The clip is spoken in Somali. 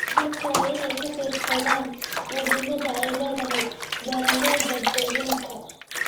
Dadku waa inay ka fiirsadaan muhiimada ay leedahay beeralayda deegaanka.